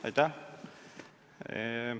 Aitäh!